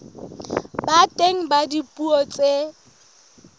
ba teng ka dipuo tse